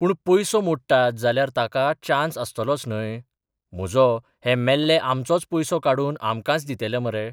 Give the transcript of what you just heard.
पूण पयसो मोडटात जाल्यार ताका चान्स आसतलोच न्हय? म्हजो हे मेल्ले आमचोच पयसो काडून आमकांच दितेले मरे.